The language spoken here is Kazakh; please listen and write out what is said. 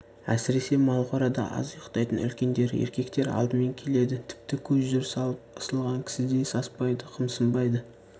әсіресе малқорада аз ұйықтайтын үлкендер еркектер алдымен келеді тіпті көп жүріс алып ысылған кісідей саспайды қымсынбайды